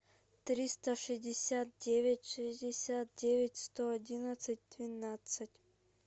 триста шестьдесят девять шестьдесят девять сто одиннадцать двенадцать